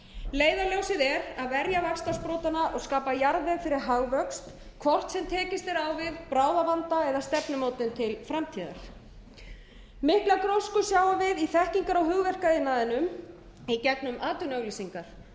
leiðarljósið er að verja vaxtarsprotana og skapa jarðveg fyrir hagvöxt hvort sem tekist er á við bráðavanda eða stefnumótun til framtíðar mikla grósku sjáum við í þekkingar og hugverkaiðnaðinum í gegnum atvinnuauglýsingar þarna erum